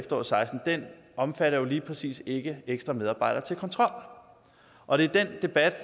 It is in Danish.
og seksten omfatter jo lige præcis ikke ekstra medarbejdere til kontrol og det er den debat